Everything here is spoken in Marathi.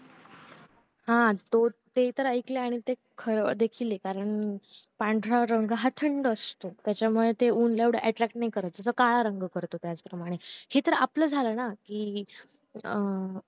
हा तो ते तर ऐकलंय आणि ते खर देखील आहे कारण पांढरा रंग हा थंड असतो त्याच्या मुळे ते ऊन ला एवढं attack नाही करत जा कि काळा रंग करतो त्याच प्रमाणे हे तर आपलं झालं ना कि अं